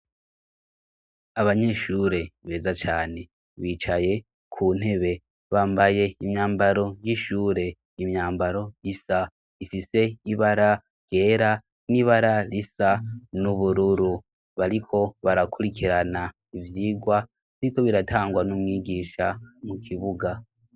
Abanyeshure beza cane bicaye ku ntebe bambaye imyambaro y'ishure, imyambaro isa ifise ibara ryera n'ibara risa n'ubururu, bariko barakurikirana ivyigwa biriko biratangwa n'umwigisha mu kibuga.